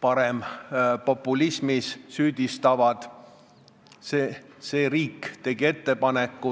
parempopulismis süüdistavad, see riik tegi ettepaneku.